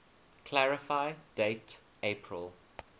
clarify date april